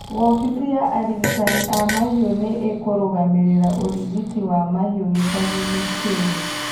Wobĩci ya arigitani a mahiu nĩ ĩkũrugamĩrĩra ũrigiti wa mahiu gĩcagi-inĩ kĩu